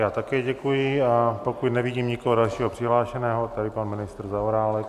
Já také děkuji, a pokud nevidím nikoho dalšího přihlášeného... tady pan ministr Zaorálek.